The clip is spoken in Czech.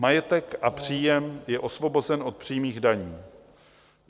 Majetek a příjem je osvobozen od přímých daní.